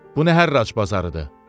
Bu nə hərrac bazarıdır?